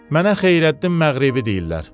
Mənə Xeyrəddin Məğribi deyirlər.